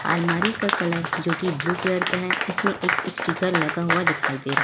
अलमारी का कलर जो कि ब्लू कलर का है इसमें एक स्टीकर लगा हुआ दिखाई दे रहा है।